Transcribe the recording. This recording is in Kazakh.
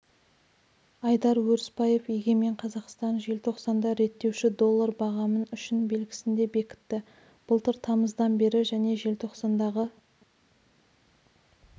айдар өрісбаев егемен қазақстан желтоқсанда реттеуші доллар бағамын үшін белгісінде бекітті былтыр тамыздан бері және желтоқсандағы